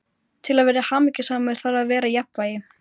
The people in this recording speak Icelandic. Til að vera hamingjusamur þarf að vera í jafnvægi.